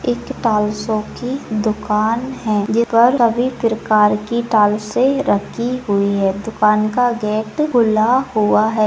एक टाइल्सों की दूकान है सभी प्रकार की टाइल्से रखी हुई है दूकान का गेट खुला हुआ है।